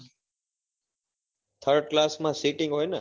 thired class માં sitting હોય ને?